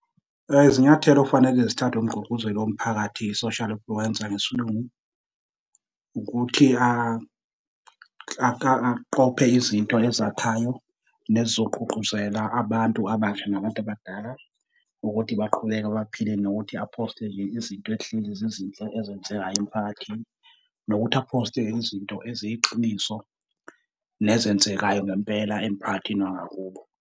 Izinyathelo okufanele zithathwe umgqugquzeli womphakathi, social influencer ngesiLungu, ukuthi aqophe izinto ezakhayo nezizogqugquzela abantu abasha nabantu abadala, ukuthi baqhubeke baphile nokuthi aphoste nje izinto ehlezi zizinhle ezenzekayo emphakathini nokuthi aphoste izinto eziyiqiniso nezenzekayo ngempela emphakathini wangakubo.